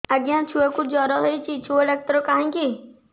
ଆଜ୍ଞା ଛୁଆକୁ ଜର ହେଇଚି ଛୁଆ ଡାକ୍ତର କାହିଁ କି